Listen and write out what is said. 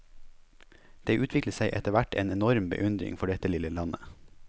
Det utviklet seg etter hvert en enorm beundring for dette lille landet.